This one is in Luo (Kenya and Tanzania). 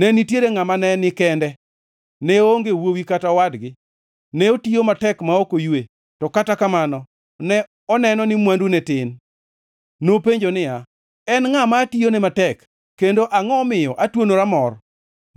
Ne nitiere ngʼama ne ni kende; ne oonge wuowi kata owadgi. Ne otiyo matek ma ok oywe, to kata kamano ne oneno ni mwandune tin. Nopenjo niya, “En ngʼa ma atiyone matek kendo angʼo omiyo atwonora mor?”